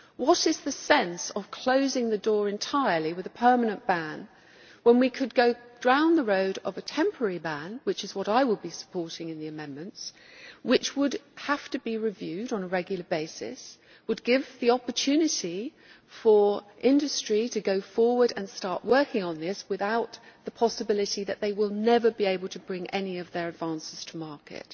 what is the sense of closing the door entirely with a permanent ban when we could go down the road of a temporary ban which is what I will be supporting in the amendments which would have to be reviewed on a regular basis, would give the opportunity for industry to go forward and start working without the possibility that they will never be able to bring any of their advances to market.